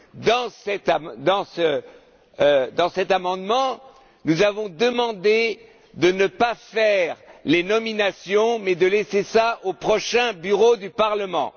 Dans cet amendement, nous avons demandé de ne pas procéder aux nominations, mais de laisser cela au prochain Bureau du Parlement.